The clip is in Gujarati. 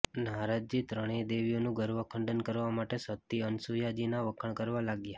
નારદજી ત્રણેય દેવીઓનું ગર્વ ખંડન કરવા માટે સતી અનસૂયાજીના વખાણ કરવા લાગ્યા